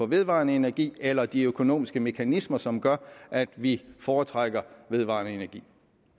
vedvarende energi eller de økonomiske mekanismer som gør at vi foretrækker vedvarende energi